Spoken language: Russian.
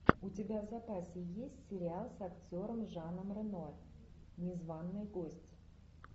у тебя в запасе есть сериал с актером жаном рено незваный гость